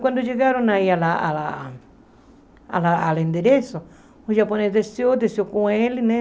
Quando chegaram aí ao ao ao endereço, o japonês desceu, desceu com ele, né?